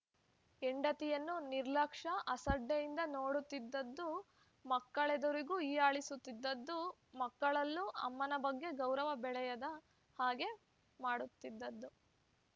ಹೆಂಡತಿಯನ್ನು ನಿರ್ಲಕ್ಷ್ಯ ಅಸಡ್ಡೆಯಿಂದ ನೋಡುತ್ತಿದ್ದದ್ದು ಮಕ್ಕಳೆದುರಿಗೂ ಹೀಯಾಳಿಸುತ್ತಿದ್ದದ್ದು ಮಕ್ಕಳಲ್ಲೂ ಅಮ್ಮನ ಬಗ್ಗೆ ಗೌರವ ಬೆಳೆಯದ ಹಾಗೆ ಮಾಡುತ್ತಿದ್ದದ್ದು